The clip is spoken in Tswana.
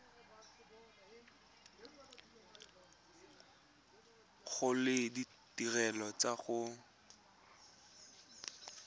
gola le ditirelo tsa go